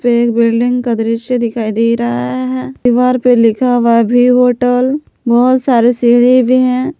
एक बिल्डिंग का दृश्य दिखाई दे रहा है दीवार पे लिखा हुआ है भी होटल बहुत सारे सीढ़ी भी हैं।